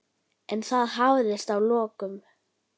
En það hafðist að lokum.